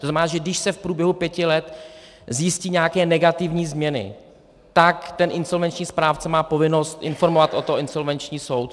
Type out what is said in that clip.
To znamená, že když se v průběhu pěti let zjistí nějaké negativní změny, tak ten insolvenční správce má povinnost informovat o tom insolvenční soud.